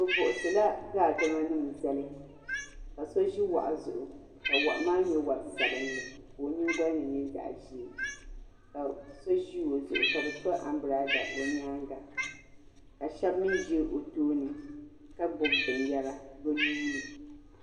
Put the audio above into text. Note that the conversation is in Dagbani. Bi buɣisi la daadama nima n zali ka so zi wahu zuɣu ka wahu maa nyɛ wari sabinli ka o yiŋgoli ni nyɛ zaɣi zee ka so zi o zuɣu ka bi to ambrada o yɛanga ka shɛba mi zi o tooni ka gbubi bini yara bi nuuni.